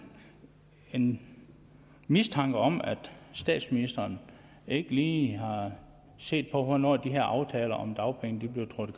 en mistanke om at statsministeren ikke lige har set på hvornår de her aftaler om dagpengene trådte